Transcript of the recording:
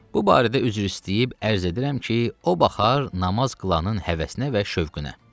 Bu barədə üzr istəyib ərz edirəm ki, o baxar namaz qılanın həvəsinə və şövqünə.